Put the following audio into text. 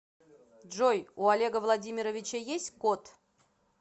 джой у олега владимировича есть кот